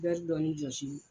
Bɛɛri dɔɔni jɔsi